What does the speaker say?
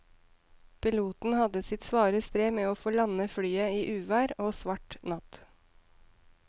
Piloten hadde sitt svare strev med å få landet flyet i uvær og svart natt.